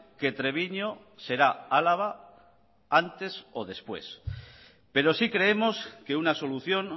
que treviño será álava antes o después pero sí creemos que una solución